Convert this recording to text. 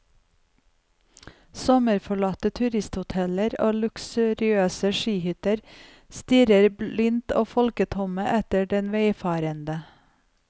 Sommerforlatte turisthoteller og luksuriøse skihytter stirrer blindt og folketomme etter den veifarende.